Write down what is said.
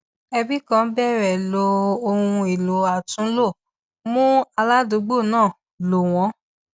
ẹbi kan bẹrẹ lo ohun èlò àtúnlò mú aládùúgbò náà lò wọn